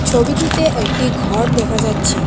ছবিটিতে একটি ঘর দেখা যাচ্ছে।